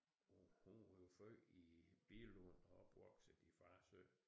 Hun blev født i Billund og opvokset i Farsø